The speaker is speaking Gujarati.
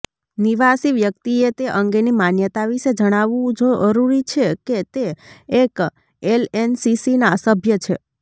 નિવાસી વ્યક્તિએ તે અંગેની માન્યતા વિશે જણાવવું જરૂરી છે કે તે એક એલએનસીસીના સભ્ય છે